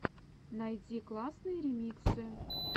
найди классные ремиксы